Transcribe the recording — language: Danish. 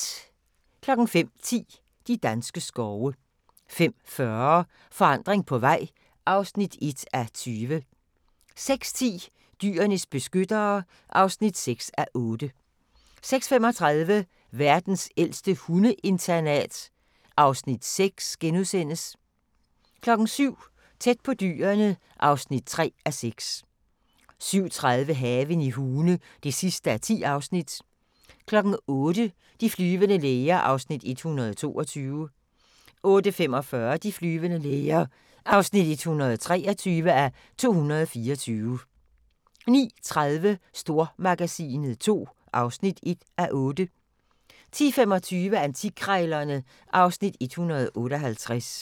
05:10: De danske skove 05:40: Forandring på vej (1:20) 06:10: Dyrenes beskyttere (6:8) 06:35: Verdens ældste hundeinternat (Afs. 6)* 07:00: Tæt på Dyrene (3:6) 07:30: Haven i Hune (10:10) 08:00: De flyvende læger (122:224) 08:45: De flyvende læger (123:224) 09:30: Stormagasinet II (1:8) 10:25: Antikkrejlerne (Afs. 158)